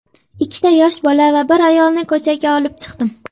Ikkita yosh bola va bir ayolni ko‘chaga olib chiqdim.